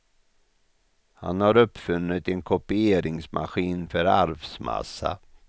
Han har uppfunnit en kopieringsmaskin för arvsmassa.